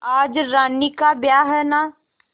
आज रानी का ब्याह है न